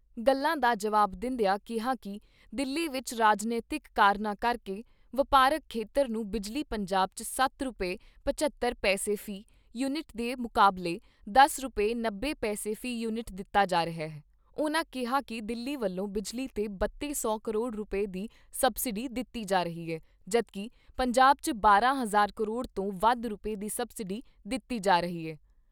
ਗੱਲਾਂ ਦਾ ਜਵਾਬ ਦਿੰਦਿਆਂ ਕਿਹਾ ਕਿ ਦਿੱਲੀ ਵਿਚ ਰਾਜਨੀਤਿਕ ਕਾਰਨਾਂ ਕਰਕੇ ਵਪਾਰਕ ਖੇਤਰ ਨੂੰ ਬਿਜਲੀ ਪੰਜਾਬ 'ਚ ਸੱਤ ਰੁਪਏ ਪਝੱਤਰ ਪੈਸੇ ਵੀ ਯੂਨਿਟ ਦੇ ਮੁਕਾਬਲੇ ਦਸ ਰੁਪਏ ਨੱਬੇ ਪੈਸੇ ਵੀ ਯੂਨਿਟ ਦਿੱਤੀ ਜਾ ਰਹੀ ਐ, ਉਨ੍ਹਾਂ ਕਿਹਾ ਕਿ ਦਿੱਲੀ ਵੱਲੋਂ ਬਿਜਲੀ 'ਤੇ ਬੱਤੀ ਸੌ ਕਰੋੜ ਰੁਪਏ ਦੀ ਸਬਸਿਡੀ ਦਿੱਤੀ ਜਾ ਰਹੀ ਐ ਜਦੋਂ ਕਿ ਪੰਜਾਬ 'ਚ ਬਾਰਾਂ ਹਜ਼ਾਰ ਕਰੋੜ ਤੋਂ ਵੱਧ ਰੁਪਏ ਦੀ ਸਬਸਿਡੀ ਦਿੱਤੀ ਜਾ ਰਹੀ ਐ।